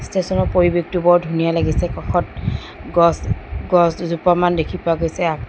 ষ্টেচনৰ পৰিৱেশটো বৰ ধুনীয়া লাগিছে কাষত গছ গছ দুজোপামান দেখি পোৱা গৈছে।